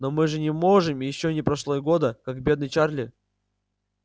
но мы же не можем ещё не прошло и года как бедный чарли